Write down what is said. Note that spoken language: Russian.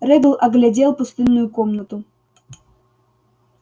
реддл оглядел пустынную комнату